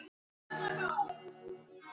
Gat ekkert sagt.